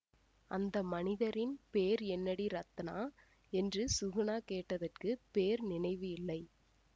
அந்த மனிதரின் பேர் என்னடி ரத்னா என்று சுகுணா கேட்டதற்கு பேர் நினைவு இல்லை